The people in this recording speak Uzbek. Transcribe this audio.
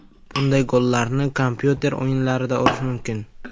Bunday gollarni kompyuter o‘yinlarida urish mumkin.